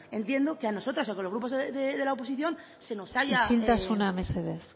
entiendo que a nosotras o que a los grupos de la oposición se nos haya isiltasuna mesedez